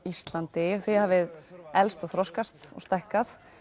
Íslandi þið hafið elst og þroskast og stækkað